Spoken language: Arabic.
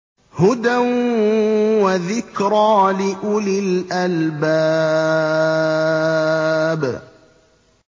هُدًى وَذِكْرَىٰ لِأُولِي الْأَلْبَابِ